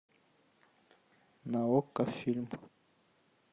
на окко фильм